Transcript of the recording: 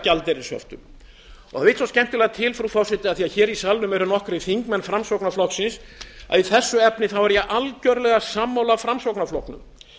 gjaldeyrishöftum það vill svo skemmtilega til frú forseti af því að hér í salnum eru nokkrir þingmenn framsóknarflokksins að í þessu efni er ég algjörlega sammála framsóknarflokknum